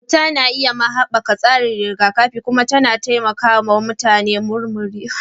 Abota na iya ma haɓaka tsarin rigakafi kuma yana taimakawa mutane murmurewa daga rashin lafiya cikin sauri.